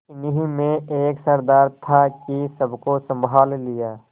इन्हीं में एक सरदार था कि सबको सँभाल लिया